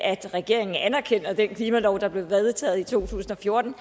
at regeringen anerkender den klimalov der blev vedtaget i to tusind og fjorten